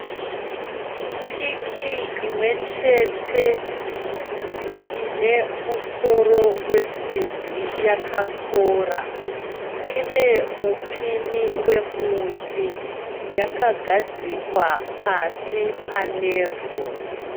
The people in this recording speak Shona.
Piki imwechete inemusoro wesimbi yakakora, inemupinyi wemuti yakagadzikwa pasi panevhu.